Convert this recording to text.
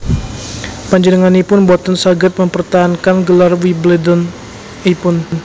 Panjenenganipun boten saged mempertahankan gelar Wimbledon ipun